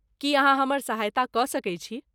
की अहाँ हमर सहायता कऽ सकैत छी?